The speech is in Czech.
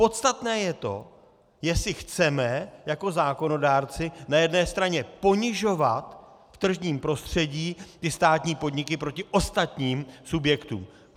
Podstatné je to, jestli chceme jako zákonodárci na jedné straně ponižovat v tržním prostředí ty státní podniky proti ostatním subjektům.